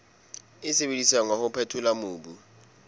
sebediswang wa ho phethola mobu